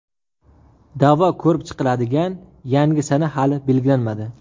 Da’vo ko‘rib chiqiladigan yangi sana hali belgilanmadi.